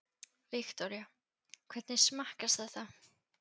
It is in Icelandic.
Viktoría: Hvernig smakkast þetta?